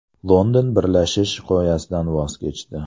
London birlashish g‘oyasidan voz kechdi.